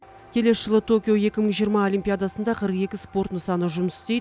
келесі жылы токио екі мың жиырма олимпиадасында қырық екі спорт нысаны жұмыс істейді